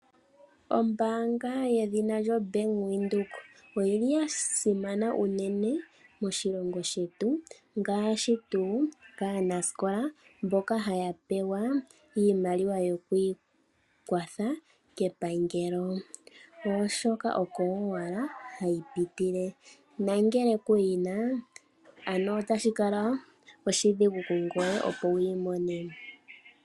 Ombanga yedhina lyo Bank Widheok oyili yasimana unene moshilongo shetu ngashi tu kanasikola mboka hayapewa iimaliwa yokwikwatha kepangelo oshoka oko owala hayipitike nangele kuyina ano otashikala oshidhigu kungweye opo wimone.